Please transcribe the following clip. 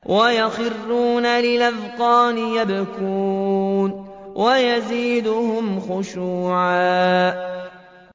وَيَخِرُّونَ لِلْأَذْقَانِ يَبْكُونَ وَيَزِيدُهُمْ خُشُوعًا ۩